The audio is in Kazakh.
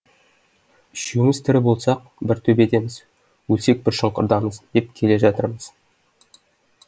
үшеуміз тірі болсақ бір төбедеміз өлсек бір шұңқырдамыз деп келе жатырмыз